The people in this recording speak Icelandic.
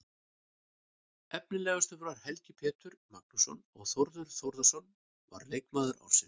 Efnilegastur var Helgi Pétur Magnússon og Þórður Þórðarson var leikmaður ársins.